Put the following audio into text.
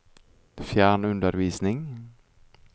fjernundervisning